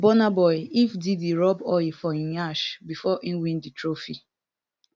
burna boy if diddy rub oil for im nyash bifor e win di trophy